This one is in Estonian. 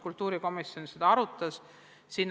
Kultuurikomisjon arutas seda.